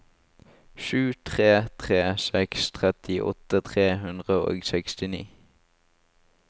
sju tre tre seks trettiåtte tre hundre og sekstini